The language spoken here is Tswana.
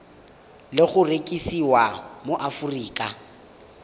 le go rekisiwa mo aforika